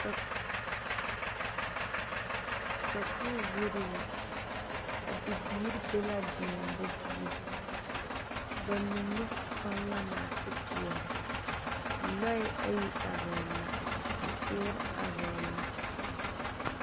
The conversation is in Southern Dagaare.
Te, sakuri yiri la a bibiiri be la deɛmo zie bamine tuŋ la naate peɛle lɔɛ ayi are la teere are la.